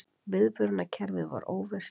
Viðvörunarkerfið var óvirkt